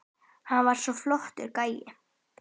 Hann var svo flottur gæi.